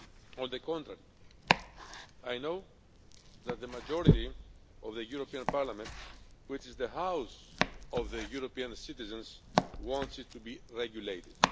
On the contrary, I know that the majority of the European Parliament, which is the House of the European citizens, wants it to be regulated.